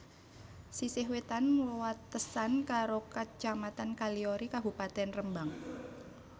Sisih wétan wewatesan karo Kacamatan Kaliori Kabupatèn Rembang